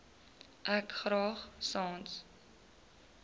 ek graag sans